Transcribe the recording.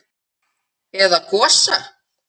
Eða Gosa?